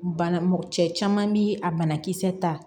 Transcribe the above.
Bana mɔgɔ cɛ caman bi a banakisɛ ta